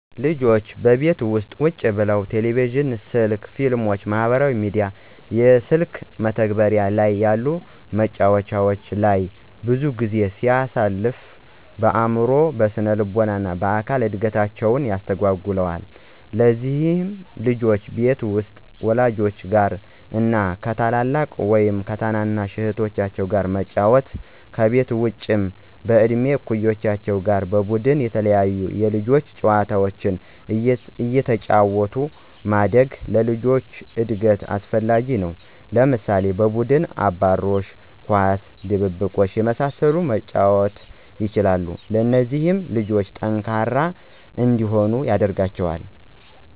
ልጆች ቤት ውስጥ ቁጭ ብለው ቴሌቪዥን፣ ስልክ፣ ፊልሞችን፣ ማህበራዊ ሚዲያ፣ የስልክ መተግበሪያ ላይ ያሉ ጨዋታወች ላይ ብዙ ጊዜያቸውን ሲያሳልፉ በአዕምሮ፣ በስነልቦና እና በአካል እድገታቸውን ያስተጓጉለዋል። ለዚህም ልጆች ቤት ውስጥ ወላጆቻቸው ጋር እና ከ ታላቅ ወይም ታናሽ እህታቸው ጋር በመጫወት፤ ከቤት ውጭም በእድሜ እኩዮቻቸው ጋር በቡድን የተለያዩ የልጆች ጨዋታዎችን አየተጫወቱ ማደግ ለልጆች እድገት አስፈላጊ ነው። ለምሳሌ፦ በቡድን አባሮሽ፣ ኳስ፣ ድብብቆሽ የመሳሰሉትን መጫወት ይችላሉ። ለዚህም ልጆቹ ጠንካራ እንዲሆኑ ያደርጋቸዋል።